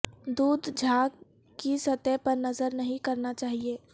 دودھ جھاگ کی سطح پر نظر نہیں کرنا چاہئے